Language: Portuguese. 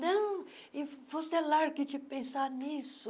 Não, você largue de pensar nisso.